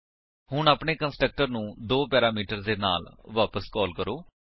ਹੁਣ ਆਪਣੇ ਕੰਸਟਰਕਟਰ ਨੂੰ ਦੋ ਪੈਰਾਮੀਟਰਸ ਦੇ ਨਾਲ ਵਾਪਸ ਕਾਲ ਕਰੋ